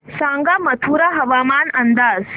सांगा मथुरा हवामान अंदाज